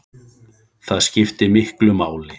Það skiptir miklu máli.